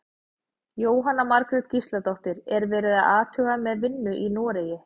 Jóhanna Margrét Gísladóttir: Er verið að athuga með vinnu í Noregi?